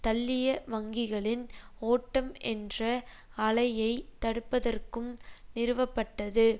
தள்ளிய வங்கிகளின் ஓட்டம் என்ற அலையைத் தடுப்பதற்கும் நிறுவப்பட்டது